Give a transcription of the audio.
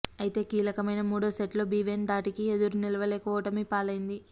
అయితే కీలకమైన మూడో సెట్లో బీవెన్ ధాటికి ఎదురు నిలువలేక ఓటమి పాలైంది